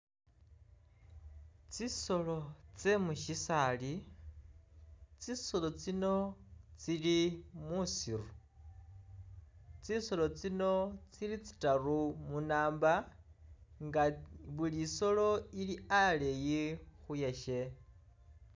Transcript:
Tsisolo tsye mu mu syisaali, tsisolo tsino tsili muusiru, tsisolo tsino tsili tsitaru mu number nga buli isoolo ili aleyi khuyasye.